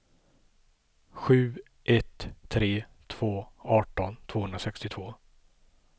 sju ett tre två arton tvåhundrasextiotvå